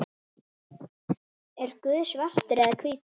Er Guð svartur eða hvítur?